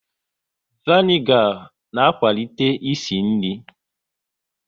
Vanigar na akwalite ịsị nri